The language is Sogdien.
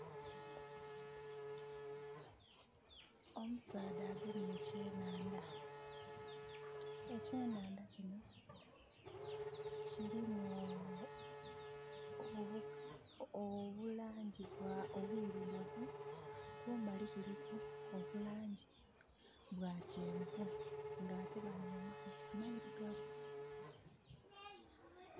Omusaadha agemye ekyenandha. Ekyenandha kino kirimu obulangi obwirugavu, kumbali kuliku obulangi bwa kyenvu ate nga bali mu maadhi amairigavu